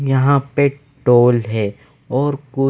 यहाँ पे टोल हे और कु--